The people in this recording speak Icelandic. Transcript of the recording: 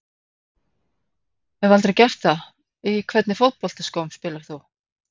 Hef aldrei gert það Í hvernig fótboltaskóm spilar þú?